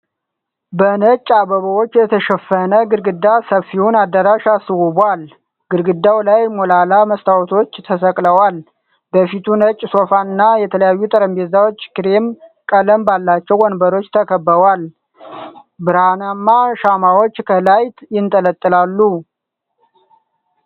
በ ነጭ አበባዎች የተሸፈነ ግድግዳ ሰፊውን አዳራሽ አስውቧል፡፡ ግድግዳው ላይ ሞላላ መስተዋቶች ተሰቅለዋል፡፡ በፊቱ ነጭ ሶፋ እና የተለያዩ ጠረጴዛዎች ክሬም ቀለም ባላቸው ወንበሮች ተከበዋል፡፡ ብርሃናማ ሻማዎች ከላይ ይንጠለጠላሉ፡፡